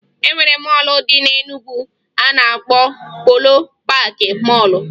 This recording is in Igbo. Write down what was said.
E nwere mọọlụ dị na Enugwu a na-akpọ Polo Paakị Mọọlụ